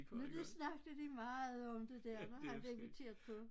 Nu da snakkede de meget om det der når han blev inviteret på